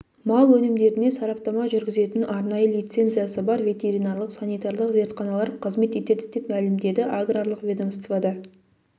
мал өнімдеріне сараптама жүргізетін арнайы лицензиясы бар ветеринарлық-санитарлық зертханалар қызмет етеді деп мәлімдеді аграрлық ведомствода